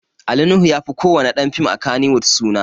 Ali Nuhu ya fi ko wani ɗan fim a Kannywood suna